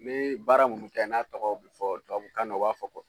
Me baara minnu kɛ n'a tɔgɔ bɛ fɔ tubabu kan na u b'a fɔ ko